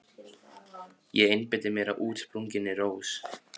Ég einbeiti mér að útsprunginni rós.